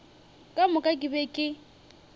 ka moka ke be ke